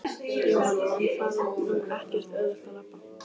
Jóhann: En það er nú ekkert auðvelt að labba?